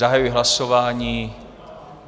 Zahajuji hlasování.